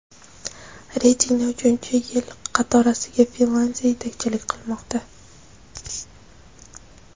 Reytingda uchinchi yil qatorasiga Finlyandiya yetakchilik qilmoqda.